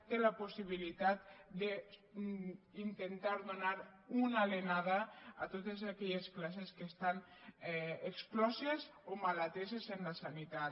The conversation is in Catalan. té la possibilitat d’intentar donar una alenada a totes aquelles classes que estan excloses o mal ateses en la sanitat